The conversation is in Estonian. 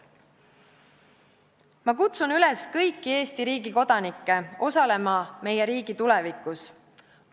Ma kutsun üles kõiki Eesti riigi kodanikke osalema meie riigi tulevikus.